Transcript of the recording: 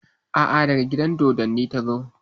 A'a, daga gidan dodonni ta zo.